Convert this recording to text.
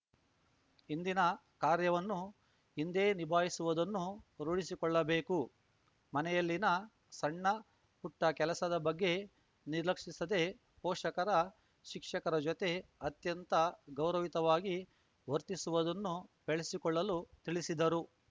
ಇಂದಿನ ಕಾರ್ಯವನ್ನು ಇಂದೇ ನಿಭಾಯಿಸುವುದನ್ನು ರೂಡಿಸಿಕೊಳ್ಳಬೇಕು ಮನೆಯಲ್ಲಿನ ಸಣ್ಣ ಪುಟ್ಟಕೆಲಸದ ಬಗ್ಗೆ ನಿರ್ಲಕ್ಷಿಸದೆ ಪೋಷಕರ ಶಿಕ್ಷಕರ ಜತೆ ಅತ್ಯಂತ ಗೌರವಯುತವಾಗಿ ವರ್ತಿಸುವುದನ್ನು ಬೆಳೆಸಿಕೊಳ್ಳಲು ತಿಳಿಸಿದರು